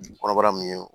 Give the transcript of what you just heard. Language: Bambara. Kɔnɔbara mun ye